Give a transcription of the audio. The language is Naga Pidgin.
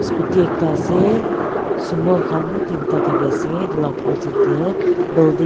scooty ekta ase sumo khan teen ta thaki ase edu laka opposite tae building .